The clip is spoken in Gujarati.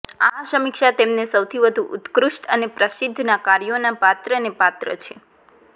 આ સમીક્ષા તેમને સૌથી વધુ ઉત્કૃષ્ટ અને પ્રસિદ્ધ ના કાર્યોના પાત્રને પાત્ર છે